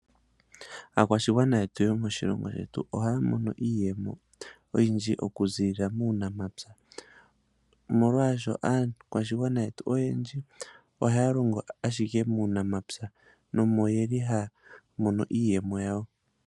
Aakwashigwana yetu yomoshilongo shetu ohaya mono iiyemo oyindji okuziilila muunamapya omolwaashoka aakwashigwana yetu ohaya longo ashike muunamapya nomo yeli haya mono iiyemo yawo.